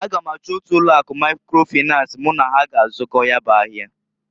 A ga m achọ otu ụlọ akụ Maikro Finans mụ na ha g'azụkọ ya bụ ahịa.